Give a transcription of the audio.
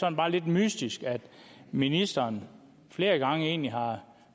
er bare lidt mystisk at ministeren flere gange egentlig har